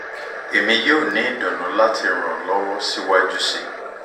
emi yoo ni idunnu lati ran ọ lọwọ siwaju sii